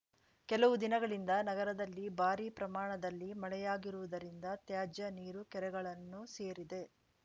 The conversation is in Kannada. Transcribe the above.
ಕೆಲವು ದಿನಗಳಿಂದ ನಗರದಲ್ಲಿ ಭಾರಿ ಪ್ರಮಾಣದಲ್ಲಿ ಮಳೆಯಾಗಿರುವುದರಿಂದ ತ್ಯಾಜ್ಯ ನೀರು ಕೆರೆಗಳನ್ನು ಸೇರಿದೆ